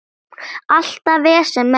Alltaf vesen með það.